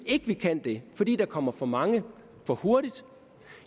ikke kan det fordi der kommer for mange for hurtigt